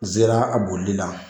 N zera a bolili la.